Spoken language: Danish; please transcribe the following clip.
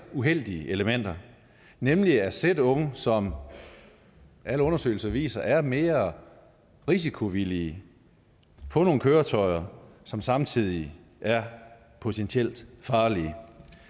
uheldige elementer nemlig at sætte unge som alle undersøgelser viser er mere risikovillige på nogle køretøjer som samtidig er potentielt farlige